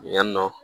Yan nɔ